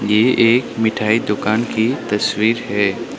ये एक मिठाई दुकान की तस्वीर है।